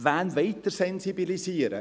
Wen wollen Sie sensibilisieren?